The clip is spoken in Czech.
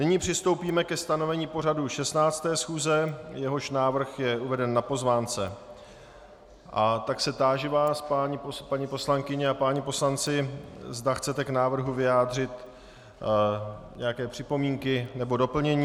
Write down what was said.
Nyní přistoupíme ke stanovení pořadu 16. schůze, jehož návrh je uveden na pozvánce, a tak se táži vás, paní poslankyně a páni poslanci, zda chcete k návrhu vyjádřit nějaké připomínky nebo doplnění.